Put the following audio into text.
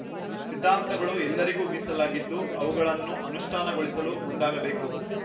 ಸಿದ್ಧಾಂತಗಳು ಎಲ್ಲರಿಗೂ ಮೀಸಲಾಗಿದ್ದು ಅವುಗಳನ್ನು ಅನುಷ್ಠಾನಗೊಳಿಸಲು ಮುಂದಾಗಬೇಕು